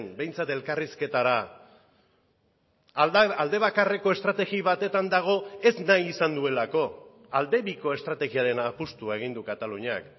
behintzat elkarrizketara alde bakarreko estrategi batetan dago ez nahi izan duelako alde biko estrategiarena apustua egin du kataluniak